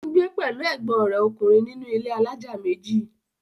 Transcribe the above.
ó ń gbé pẹ̀lú ègbọ́n rẹ̀ ọkùnrin nínú ilé alájà méjì.